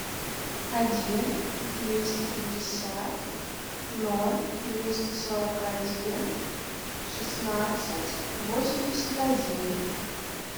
один двести пятьдесят ноль двести сорок один шестнадцать восемьдесят один